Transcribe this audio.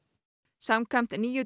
samkvæmt nýju